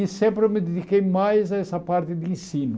E sempre eu me dediquei mais a essa parte de ensino.